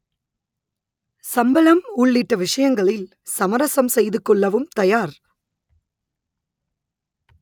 சம்பளம் உள்ளிட்ட விஷயங்களில் சமரசம் செய்து கொள்ளவும் தயார்